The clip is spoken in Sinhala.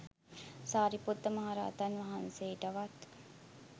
සාරිපුත්ත මහරහතන් වහන්සේටවත්